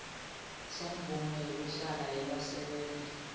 semvumo yekuhlala yebasebenti